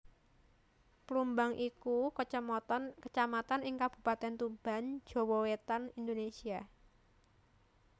Plumbang iku Kacamatan ing Kabupatèn Tuban Jawa Wétan Indonésia